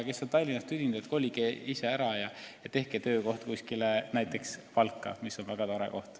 Kes on Tallinnast tüdinud, kolige ära ja tehke töökoht näiteks Valka, mis on väga tore koht.